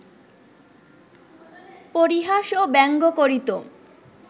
পরিহাস ও ব্যঙ্গ করিত